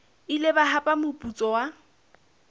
ile ba hapa moputso wa